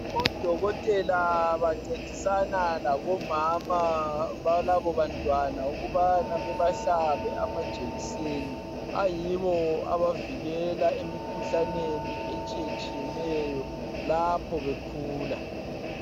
ODokotela bancedisana labomama balabo bantwana .Ukubana bebahlabe amajekiseni ,ayiwo abavikela emikhuhlaneni etshiyetshiyeneyo lapho bekhula.